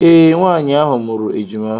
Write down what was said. Ee, Nwaanyị ahụ mụrụ ejima.